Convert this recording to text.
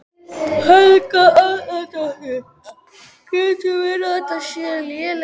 Helga Arnardóttir: Getur verið að þetta séu léleg laun?